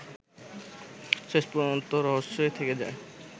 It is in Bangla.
শেষ পর্যন্ত রহস্যই থেকে যায়